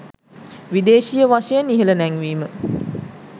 විදේශීය වශයෙන් ඉහල නැංවීම